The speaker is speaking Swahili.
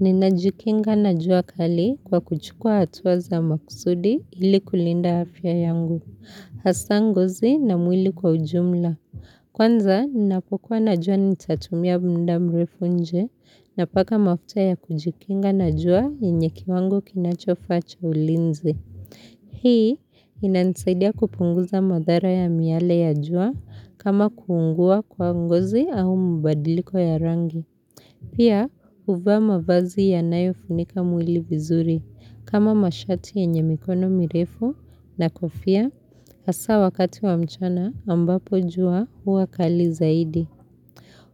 Ninajikinga na jua kali kwa kuchukua hatuwa za makusudi ili kulinda afya yangu. Hasanguzi na mwili kwa ujumla. Kwanza, ninapokuwa na jua nitatumia muda mrefu nje napaka mafuta ya kujikinga na jua enye kiwangu kinachofa cho ulinzi. Hii, inanasaidia kupunguza madhara ya miale ya jua kama kuungua kwa ngozi au mbadiliko ya rangi. Pia uvaa mavazi ya nayo funika mwili vizuri kama mashati enye mikono mirefu na kofia asa wakati wa mchana ambapo jua hua kali zaidi.